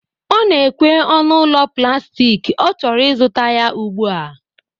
Ọ na-ekwe ọnụ ụlọ plastik, ọ chọrọ ịzụta ya ugbu a